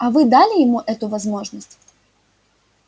а вы дали ему эту возможность